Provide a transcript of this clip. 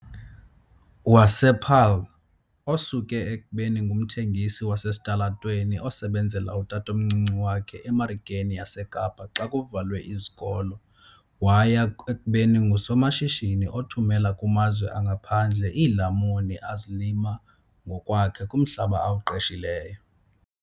wasePaarl, osuke ekubeni ngumthengisi wasesitalatweni osebenzela utatomncinci wakhe eMarikeni yaseKapa xa kuvalwe izikolo waya ekubeni ngusomashishini othumela kumazwe angaphandle iilamuni azilima ngokwakhe kumhlaba awuqeshileyo.